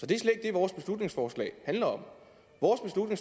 vores beslutningsforslag handler om